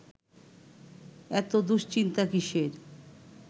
এত দুশ্চিন্তা কিসের